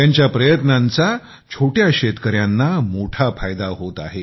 त्यांच्या प्रयत्नाचा छोट्या शेतकऱ्यांना मोठाफायदा होत आहे